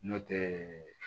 Nɔntɛ